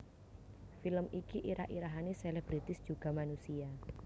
Film iki irah irahané Selebritis juga manusia